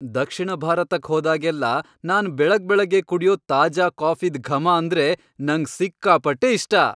ದಕ್ಷಿಣ ಭಾರತಕ್ ಹೋದಾಗೆಲ್ಲ ನಾನ್ ಬೆಳಗ್ಬೆಳಗ್ಗೆ ಕುಡ್ಯೋ ತಾಜಾ ಕಾಫಿದ್ ಘಮ ಅಂದ್ರೆ ನಂಗ್ ಸಿಕ್ಕಾಪಟ್ಟೆ ಇಷ್ಟ.